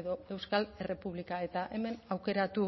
edo euskal errepublika eta hemen aukeratu